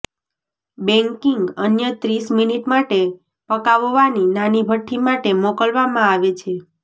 baking અન્ય ત્રીસ minute માટે પકાવવાની નાની ભઠ્ઠી માટે મોકલવામાં આવે છે